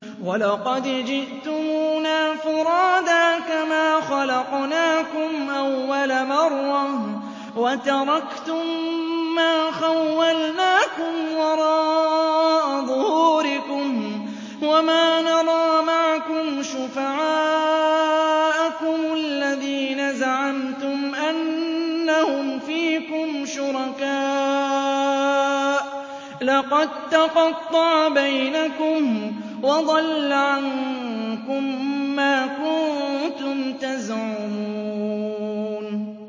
وَلَقَدْ جِئْتُمُونَا فُرَادَىٰ كَمَا خَلَقْنَاكُمْ أَوَّلَ مَرَّةٍ وَتَرَكْتُم مَّا خَوَّلْنَاكُمْ وَرَاءَ ظُهُورِكُمْ ۖ وَمَا نَرَىٰ مَعَكُمْ شُفَعَاءَكُمُ الَّذِينَ زَعَمْتُمْ أَنَّهُمْ فِيكُمْ شُرَكَاءُ ۚ لَقَد تَّقَطَّعَ بَيْنَكُمْ وَضَلَّ عَنكُم مَّا كُنتُمْ تَزْعُمُونَ